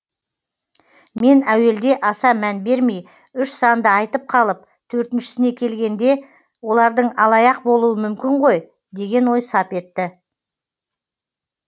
мен әуелде аса мән бермей үш санды айтып қалып төртіншісіне келгенде олардың алаяқ болуы мүмкін ғой деген ой сап етті